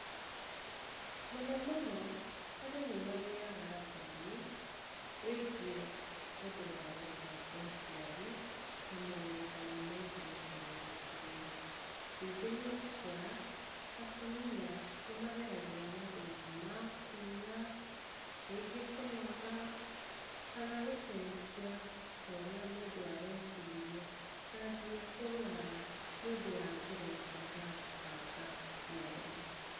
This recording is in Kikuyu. Mũno mũno andũ nĩ magĩaga thoni wĩgie ũhoro wa gũbanga ũciari na morutani megie ũhoro ũcio, ningĩ nĩ ũgũkũra atumia nĩ mageragĩra mathĩna rĩngĩ ma kura, rĩngĩ kũnoga kana gũcenjia kwaũrĩa mũndũ areciria na nginya kũrwara nĩ ũndũ wa njĩra ici cia gũbanga ũciari.